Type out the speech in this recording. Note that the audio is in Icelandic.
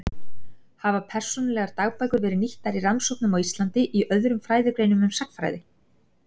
Hafa persónulegar dagbækur verið nýttar í rannsóknum á Íslandi í öðrum fræðigreinum en sagnfræði?